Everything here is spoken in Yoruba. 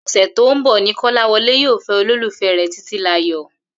Ò̩sè̩ tó ń bò̩ ni Kó̩láwo̩lé yóò fé̩ olólùfé̩ rè̩ Títílayò̩